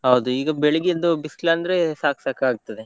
ಹೌದು ಈಗ ಬೆಳಿಗ್ಗೆ ಎದ್ದು ಬಿಸಿಲು ಅಂದ್ರೆ ಸಾಕ್ ಸಾಕ್ ಆಗಿ ಹೋಗ್ತದೆ.